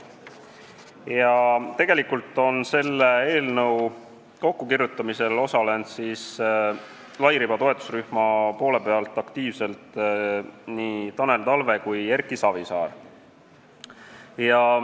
Ja selle eelnõu kokkukirjutamisel on aktiivselt osalenud nii Tanel Talve kui Erki Savisaar lairibavõrgu toetusrühmast.